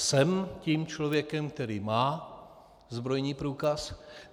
Jsem tím člověkem, který má zbrojní průkaz.